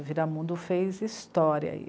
Vidamundo fez história aí.